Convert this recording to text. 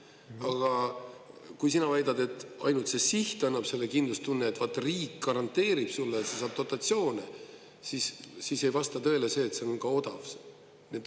Aga kui sina väidad, et ainult see siht annab selle kindlustunne, et vaat riik garanteerib sulle, et sa saad dotatsioone, siis ei vasta tõele see, et see on ka odav.